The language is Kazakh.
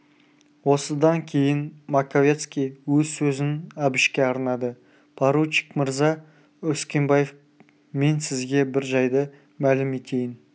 осыдан кейін маковецкий өз сөзін әбішке арнады поручик мырза үскенбаев мен сізге бір жайды мәлім етейін